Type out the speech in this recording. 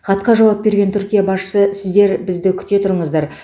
хатқа жауап берген түркия басшысы сіздер бізді күте тұрыңыздар